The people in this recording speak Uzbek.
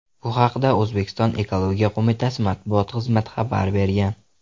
Bu haqda O‘zbekiston Ekologiya qo‘mitasi matbuot xizmati xabar bergan .